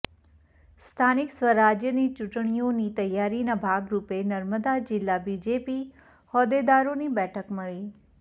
સ્થાનિક સ્વરાજ્યની ચૂંટણીઓની તૈયારીના ભાગરૂપે નર્મદા જિલ્લા બીજેપી હોદ્દેદારોની બેઠક મળી